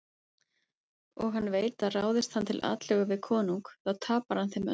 Og hann veit að ráðist hann til atlögu við konung þá tapar hann þeim öllum.